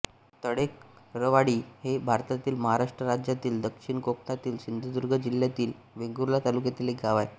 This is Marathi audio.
तळेकरवाडी हे भारतातील महाराष्ट्र राज्यातील दक्षिण कोकणातील सिंधुदुर्ग जिल्ह्यातील वेंगुर्ला तालुक्यातील एक गाव आहे